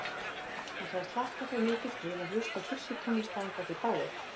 Hann sagðist hlakka svo mikið til að hlusta á kirkjutónlist að hann gæti dáið.